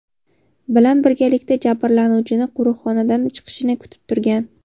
bilan birgalikda jabrlanuvchini qo‘riqxonadan chiqishini kutib turgan.